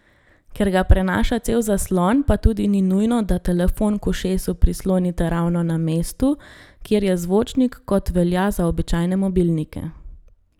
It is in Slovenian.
Ker ga prenaša cel zaslon, pa tudi ni nujno, da telefon k ušesu prislonite ravno na mestu, kjer je zvočnik, kot velja za običajne mobilnike.